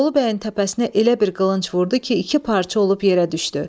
Bolu bəyin təpəsinə elə bir qılınc vurdu ki, iki parça olub yerə düşdü.